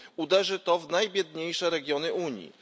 Uderzy to w najbiedniejsze regiony Unii.